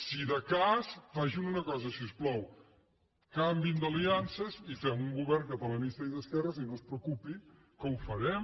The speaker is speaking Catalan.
si de cas facin una cosa si us plau canviïn d’aliances i fem un govern catalanista i d’esquerra i no es preocupi que ho farem